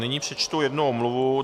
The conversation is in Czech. Nyní přečtu jednu omluvu.